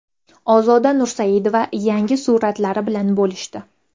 Ozoda Nursaidova yangi suratlari bilan bo‘lishdi.